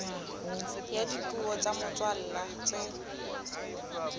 ya dipuo tsa motswalla tse